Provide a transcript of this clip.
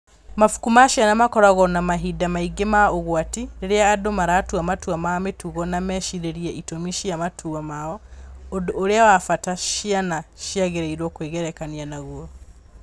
Mabuku ma ciana makoragwo na mahinda maingĩ ma ũgwati, rĩrĩa andũ maratua matua ma mĩtugo na mecirie itũmi cia matua mao, ũndũ ũrĩa wa bata ciana ciagĩrĩirũo kwĩgerekania naguo.